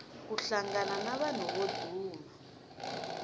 ku hlangana na vanhu vo duma